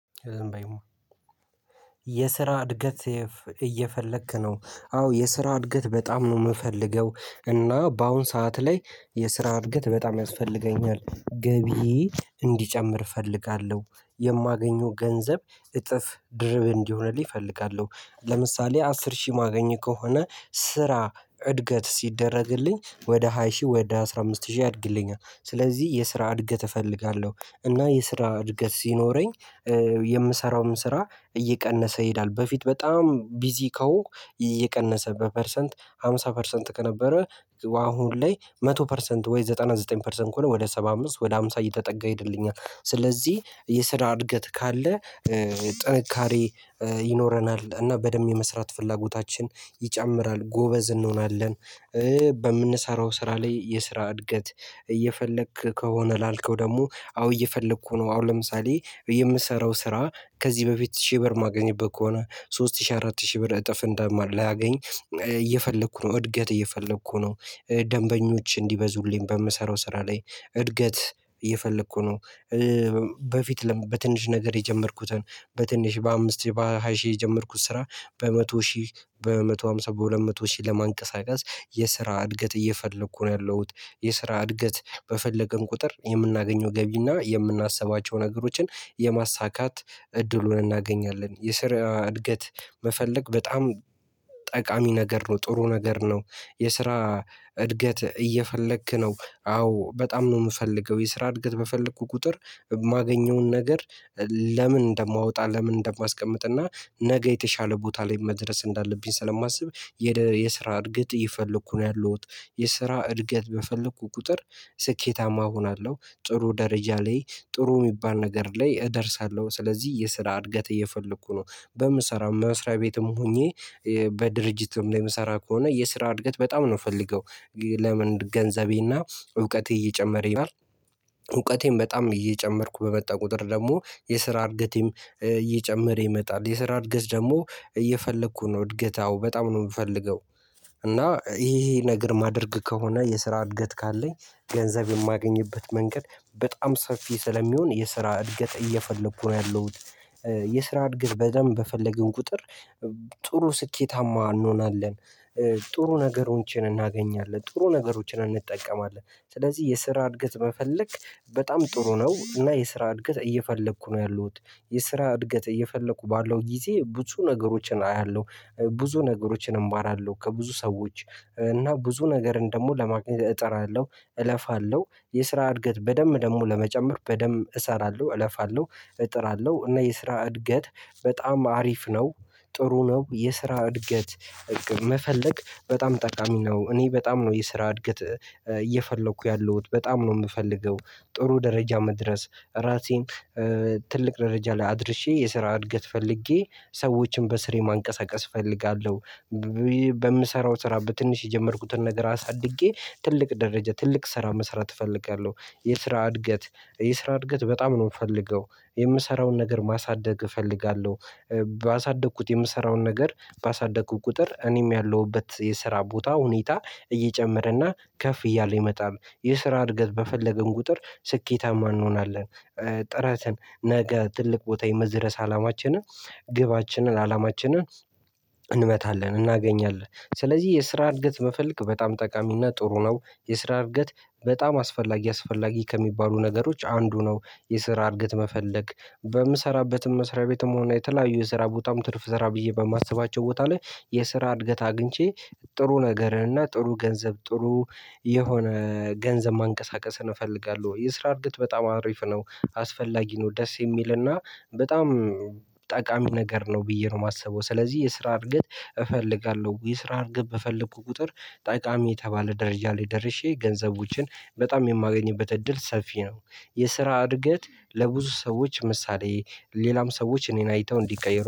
ዝም በይ የስራ እድገት እየፈለክ ነው አዎ የስራ እድገት በጣም ነው የምፈልገው። እና በአሁን ሰዓት ላይ የስራ እድገት በጣም ያስፈልገኛል ገቢ እንዲጨምር እፈልጋለሁ የማገኘው ገንዘብ እጥፍ ድርብ እንዲሆነልኝ እፈልጋለሁ ለምሳሌ አስር ሺህ ማገኝ ከሆነ ስራ እድገት ሲደረግልኝ ወደ ሃይ ሺህ ወደ አስራ አምስት ሺህ ያድግልኛል ስለዚህ የስራ እድገት እፈልጋለሁ። እና የስራ እድገት ሲኖረኝ የምሰራውም ስራ እየቀነሰ ይሄዳል በፊት በጣም ቢዚ ከሆንኩ እየቀነሰ በፐርሰንት ሃምሳ ፐርሰንት ከነበረ አሁን ላይ መቶ ፐርሰንት ወይ ዘጠና ዘጠኝ ፐርሰንት ከሆነ ወደ ሰባ አምስት ወደ ሃምሳ እየተጠጋ ይሄድልኛል። ስለዚህ የስራ እድገት ካለ ጥንካሬ ይኖረናል እና በደንብ የመስራት ፍላጎታችን ይጨምራል ጎበዝ እንሆናለን። በምንሰራው ስራ ላይ የስራ እድገት እየፈለክ ከሆነ ላልከው ደግሞ አዎ እየፈለኩ ነው። አሁን ለምሳሌ የምሰራው ስራ ከዚህ በፊት ሺህ ብር ማገኘት ከሆነ ሶስት ሺህ አራት ሺህ ብር እጥፍ እንደማር ላገኝ እየፈለኩ ነው እድገት እየፈለኩ ነው። ደንበኞች እንዲበዙልኝ በምሰራው ስራ ላይ እድገት እየፈለኩ ነው። በፊት ለምን በትንሽ ነገር የጀመርኩትን በትንሽ በአምስት ሺህ በሃያ ሺህ የጀመርኩት ስራ በመቶ ሺህ በመቶ ሃምሳ በሁለት መቶ ሺህ ለማንቀሳቀስ የስራ እድገት እየፈለኩ ነው። ያለሁት የስራ እድገት በፈለገን ቁጥር የምናገኘው ገቢና የምናስባቸው ነገሮችን የማሳካት እድሉን እናገኛለን። የስራ እድገት መፈለግ በጣም ጠቃሚ ነገር ነው ጥሩ ነገር ነው። የስራ እድገት እየፈለክ ነው? አዎ በጣም ነው የምፈልገው የስራ እድገት በፈለኩ ቁጥር የማገኘውን ነገር ለምን እንደማወጣ ለምን እንደማስቀምጥ እና ነገ የተሻለ ቦታ ላይ መድረስ እንዳለብኝ ስለማስብ የስራ እድገት እየፈለኩ ነው። ያለሁት የስራ እድገት በፈለኩ ቁጥር ስኬታማ እሆናለሁ ጥሩ ደረጃ ላይ ጥሩ የሚባል ነገር ላይ እደርሳለሁ። ስለዚህ የስራ እድገት እየፈለኩ ነው። በምሰራው መስሪያ ቤትም ሆኜ በድርጅትም ላይ የምሰራ ከሆነ የስራ እድገት በጣም ነው የምፈልገው። ለምን ገንዘቤና እውቀቴ እየጨመረ ይሄዳል። እውቀቴን በጣም እየጨመርኩ በመጣ ቁጥር ደግሞ የስራ እድገቴም እየጨመረ ይመጣል የስራ እድገት ደግሞ እየፈለኩ ነው። እድገት አዎ በጣም ነው የምፈልገው። እና ይሄ ይሄ ነገር ማደርግ ከሆነ የስራ እድገት ካለኝ ገንዘብ የማገኝበት መንገድ በጣም ሰፊ ስለሚሆን የስራ እድገት እየፈለኩ ነው። ያለሁት የስራ እድገት በደንብ በፈለግን ቁጥር ጥሩ ስኬታማ እንሆናለን። ጥሩ ነገሮችን እናገኛለን ጥሩ ነገሮችን እንጠቀማለን ስለዚህ የስራ እድገት መፈለግ በጣም ጥሩ ነው። እና የስራ እድገት እየፈለኩ ነው ያለሁት። የስራ እድገት እየፈለኩ ባለው ጊዜ ብዙ ነገሮችን አያለሁ ብዙ ነገሮችን እማራለሁ ከብዙ ሰዎች እና ብዙ ነገርን ደግሞ ለማግኘት እጠራለሁ እለፋለሁ የስራ እድገት በደንብ ደግሞ ለመጨመር በደንብ እሰራለሁ። እለፋለሁ እጥራለሁ እና የስራ እድገት በጣም አሪፍ ነው። ጥሩ ነው የስራ እድገት መፈለግ በጣም ጠቃሚ ነው። እኔ በጣም ነው የስራ እድገት እየፈለኩ ያለሁት በጣም ነው የምፈልገው። ጥሩ ደረጃ መድረስ ራሴን ትልቅ ደረጃ ላይ አድርሼ የስራ እድገት ፈልጌ ሰዎችን በስሬ ማንቀሳቀስ እፈልጋለሁ። በምሰራው ስራ በትንሽ የጀመርኩትን ነገር አሳድጌ ትልቅ ደረጃ ትልቅ ስራ መስራት እፈልጋለሁ። የስራ እድገት የስራ እድገት በጣም ነው የምፈልገው። የምሰራውን ነገር ማሳደግ እፈልጋለሁ። ባሳደግኩት የምሰራውን ነገር ባሳደግኩት ቁጥር እኔም ያለሁበት የስራ ቦታ ሁኔታ እየጨመረና ከፍ እያለ ይመጣል የስራ እድገት በፈለግን ቁጥር ስኬታማ እንሆናለን። ነገ ትልቅ ቦታ የመድረስ አላማችንን ግባችንን አላማችንን እንመታለን እናገኛለን ስለዚህ የስራ እድገት መፈልግ በጣም ጠቃሚና ጥሩ ነው። የስራ እድገት በጣም አስፈላጊ አስፈላጊ ከሚባሉ ነገሮች አንዱ ነው። የስራ እድገት መፈለግ በምሰራበትም መስሪያ ቤትም ሆነ የተለያዩ የስራ ቦታም ትርፍ ስራ ብዬ በማስባቸው ቦታ ላይ የስራ እድገት አግኝቼ ጥሩ ነገርን እና ጥሩ ገንዘብ ጥሩ የሆነ ገንዘብ ማንቀሳቀስን እፈልጋለሁ። የስራ እድገት በጣም አሪፍ ነው። አስፈላጊ ነው ደስ የሚልና በጣም ጠቃሚ ነገር ነው። ብዬ ነው የማስበው ስለዚህ የስራ እድገት እፈልጋለሁ። የስራ እድገት በፈለኩ ቁጥር ጠቃሚ የተባለ ደረጃ ላይ ደርሼ ገንዘቦችን በጣም የማገኝበት እድል ሰፊ ነው። የስራ እድገት ለብዙ ሰዎች ምሳሌ ሌላም ሰዎች እኔን አይተው እንዲቀየሩ